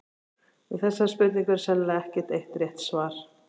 Við þessari spurningu er sennilega ekkert eitt rétt svar.